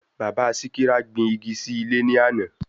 Bàbá Síkírá gbin igi sí ilé ní àná